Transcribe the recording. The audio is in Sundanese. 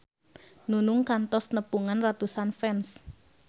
Nunung kantos nepungan ratusan fans